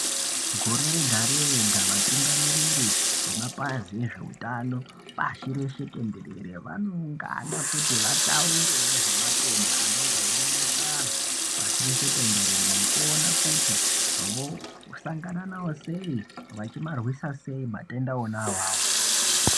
Gore rega rega vatungamiriri vemapazi ezveutano pashi reshe tendere vanoungana kuti vataure nezvematenda anenge einesa vandu pashi reshe tendere nekuona kuti vosangana nawo sei nekumarwisa sei matenda ona awayo.